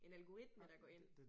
En algoritme der går ind